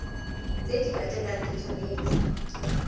tse di latelang di tshwanetse